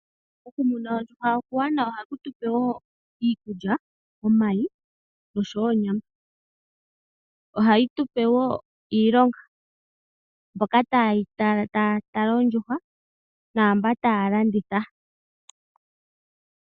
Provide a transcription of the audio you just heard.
Oku muna ondjuhwa okuwanawa, ohaku tupe wo iikulya, omayi oshowo onyama. Ohayi tupe wo iilonga: mboka taya tala oondjuhwa oshowo mboka taya landa.